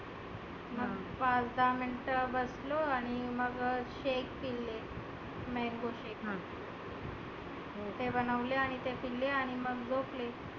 मग पाच दहा मिनीट बसलो आणि मग shaik पिले. mango shaik तेव्हा नवले आणि ते पिले आणि झोपले.